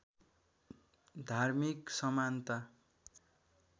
धार्मिक समानता